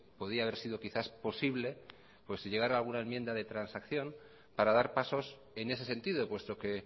podría haber sido quizá posible llegar a alguna enmienda de transacción para dar pasos en ese sentido puesto que